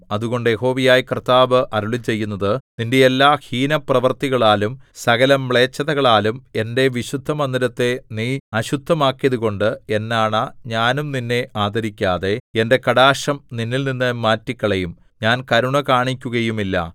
അതുകൊണ്ട് യഹോവയായ കർത്താവ് അരുളിച്ചെയ്യുന്നത് നിന്റെ എല്ലാ ഹീനപ്രവൃത്തികളാലും സകലമ്ലേച്ഛതകളാലും എന്റെ വിശുദ്ധമന്ദിരത്തെ നീ അശുദ്ധമാക്കിയതുകൊണ്ട് എന്നാണ ഞാനും നിന്നെ ആദരിക്കാതെ എന്റെ കടാക്ഷം നിന്നിൽനിന്ന് മാറ്റിക്കളയും ഞാൻ കരുണ കാണിക്കുകയുമില്ല